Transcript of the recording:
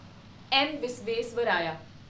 M. Visvesvaraya